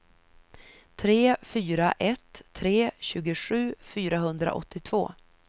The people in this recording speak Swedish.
tre fyra ett tre tjugosju fyrahundraåttiotvå